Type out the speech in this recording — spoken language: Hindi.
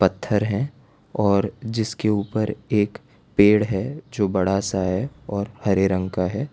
पत्थर है और जिसके ऊपर एक पेड़ है जो बड़ा सा है और हरे रंग का है।